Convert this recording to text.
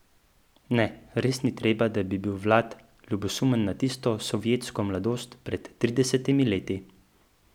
Ne, res ni treba, da bi bil Vlad ljubosumen na tisto sovjetsko mladost pred tridesetimi leti.